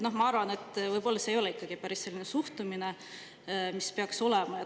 Ma arvan, et see ei ole võib-olla ikkagi päris selline suhtumine, mis peaks olema.